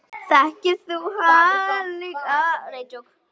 Þekkir þú hana líka?